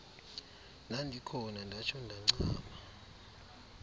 ndandikhona ndatsho ndancama